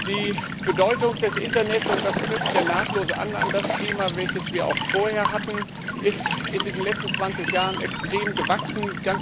Die Bedeutung des Internets und das knüpft ja nahtlos an das Thema an, welches wir auch vorher hatten ist in diesen letzten 20 Jahren extrem gewachsen.